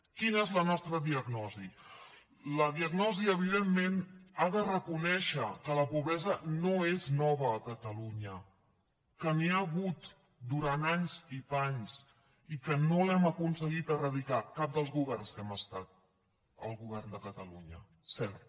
quina és la nostra diagnosi la diagnosi evidentment ha de reconèixer que la pobresa no és nova a catalunya que n’hi ha hagut durant anys i panys i que no l’hem aconseguit eradicar cap dels governs que hem estat al govern de catalunya cert